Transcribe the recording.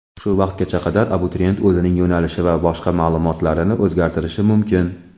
Shu vaqtgacha qadar abituriyent o‘zining yo‘nalishi va boshqa ma’lumotlarini o‘zgartirishi mumkin.